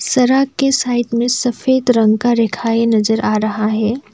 सरक के साइड में सफेद रंग का रेखाएं नजर आ रहा है।